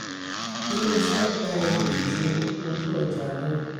ilé-iṣẹ gba èrè ju tí ojú-ọjà lọ.